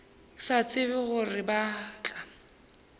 sa tsebe gore ba tla